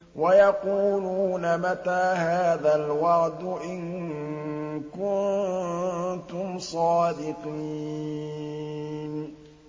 وَيَقُولُونَ مَتَىٰ هَٰذَا الْوَعْدُ إِن كُنتُمْ صَادِقِينَ